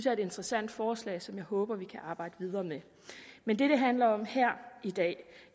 er et interessant forslag som jeg håber vi kan arbejde videre med men det det handler om her i dag